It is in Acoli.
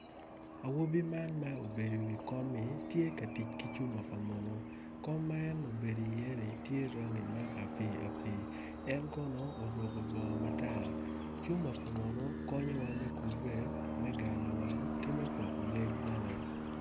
Awobi man ma obbedo i wi komi tye ka tic nyonyo pa munu kom ma en obedi iye-ni tye rangi ma apii apii en kono oruku bongo matar cuma pa munu konyowa me kubbe me ganlowang ki me poko ngec bene